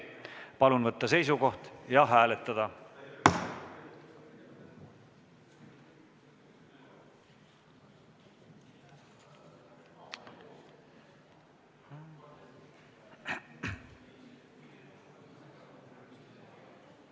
Palun võtta seisukoht ja hääletada!